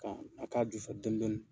Kan a k'a ju fɛ dɔni dɔni